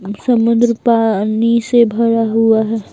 समुद्र पानी से भरा हुआ है।